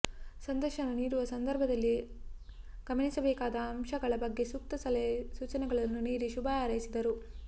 ಸಂದರ್ಶನ ನೀಡುವ ಸಂದರ್ಭದಲ್ಲಿ ಗಮನಿಸಬೇಕಾದ ಅಂಶಗಳ ಬಗ್ಗೆ ಸೂಕ್ತ ಸಲಹೆ ಸೂಚನೆಗಳನ್ನು ನೀಡಿ ಶುಭ ಹಾರೈಸಿದರು